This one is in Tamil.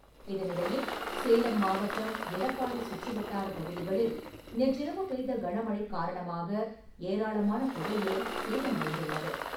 இதனிடையே சேலம் மாவட்டம், எடப்பாடி சுற்றுவட்டார பகுதிகளில் நேற்றிரவு பெய்த கனமழை காரணமாக, ஏராளமான புகையிலை சேதமடைந்துள்ளது.